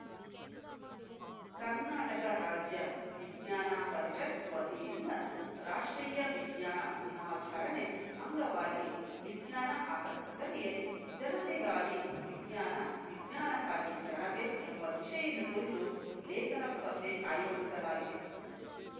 ಕರ್ನಾಟಕ ರಾಜ್ಯ ವಿಜ್ಞಾನ ಪರಿಷತ್‌ ವತಿಯಿಂದ ರಾಷ್ಟ್ರೀಯ ವಿಜ್ಞಾನ ದಿನಾಚರಣೆ ಅಂಗವಾಗಿ ವಿಜ್ಞಾನಾಸಕ್ತರಿಗೆ ಜನತೆಗಾಗಿ ವಿಜ್ಞಾನ ವಿಜ್ಷಾನಕ್ಕಾಗಿ ಜನತೆ ಎಂಬ ವಿಷಯದ ಕುರಿತು ಲೇಖನ ಸ್ಪರ್ಧೆ ಆಯೋಜಿಸಲಾಗಿದೆ